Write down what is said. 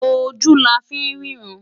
Ojú la fí ń rí ìran.